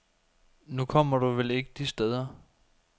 Nu kommer du vel ikke de steder.